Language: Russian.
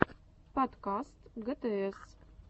подкаст гтс